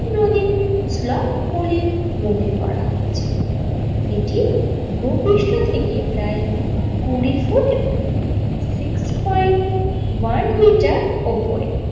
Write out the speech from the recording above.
Flop বলে মোএ করা হয়েছিল এটি ভূপৃষ্ট থেকে প্রায় কুড়ি foot six point one metre ওপরে।